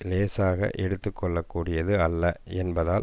இலேசாக எடுத்து கொள்ளக்கூடியது அல்ல என்பதால்